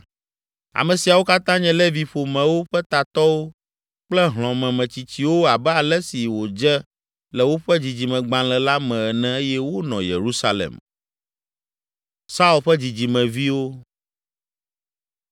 Ame siawo katã nye Levi ƒomewo ƒe tatɔwo kple hlɔ̃memetsitsiwo abe ale si wòdze le woƒe dzidzimegbalẽ la me ene eye wonɔ Yerusalem.